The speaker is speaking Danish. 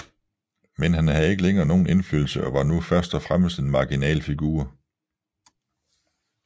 Men han havde ikke længere nogen indflydelse og var nu først og fremmest en marginal figur